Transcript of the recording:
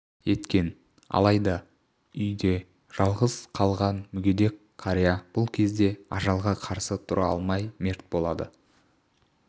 еткен алайда үйде жалғыз қалған мүгедек қария бұл кезде ажалға қарсы тұра алмай мерт болады